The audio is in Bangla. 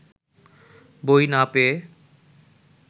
বই না পেয়ে